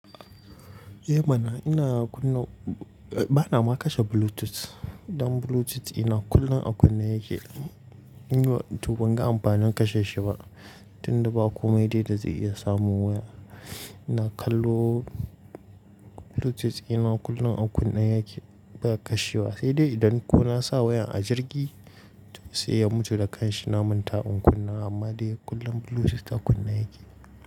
Eh mana, ina kunna-- bana ma kashe Bluetooth. Dan Bluetooth dina kullum a kunna yake. Toh ban ga amfanin kashe shi ba, tunda ba komai dai da zai iya samun waya. Ina kallo Bluetooth dina kullum a kunne yake, ba a kashe wa. Sai dai idan ko na sa wayan a jirgi sai ya mutu da kanshi, na manta in kunna. Amma dai kullum Bluetooth a kunna yake.